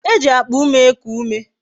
E ji akpa ume eku ume